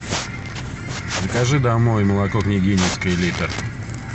закажи домой молоко княгининское литр